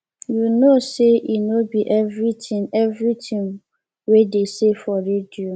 you know say e no be everything everything we dey say for radio